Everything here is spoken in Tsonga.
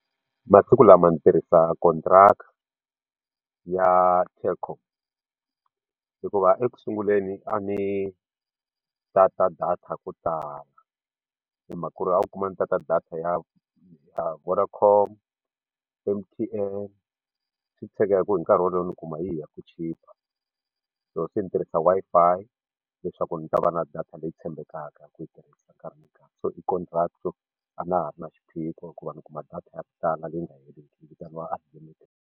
Masiku lama ni tirhisa ckontiraka yaTelkom hikuva ekusunguleni a ni data ya ku tala hi mhaka ku ri a wu kuma ni data ya Vodacom M_T_N swi tshege hi ku hi nkarhi wolowo ni kuma yihi ya ku chipa so swi ndzi tirhisa Wi-Fi leswaku ndzi ta va na data leyi tshembekaka ku yi tirhisa nkarhi ni nkarhi so i konriraka a na ha ri na xiphiqo ku va ni kuma data ya ku tala leyi nga heriki yi vitaniwa unlimited.